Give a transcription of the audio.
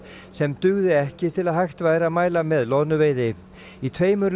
sem dugði ekki til að hægt væri að mæla með loðnuveiði í tveimur